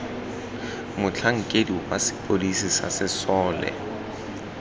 motlhankedi wa sepodisi sa sesole